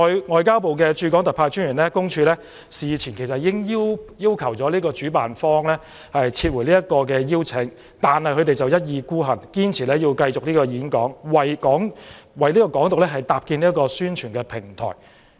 外交部駐港特派員公署事前已經要求主辦方撤回邀請，但對方一意孤行，堅持邀請陳浩天演講，為"港獨"搭建宣傳的平台。